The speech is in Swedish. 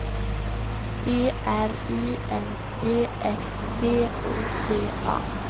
E R I N G S B O D A